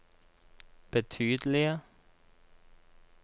betydelige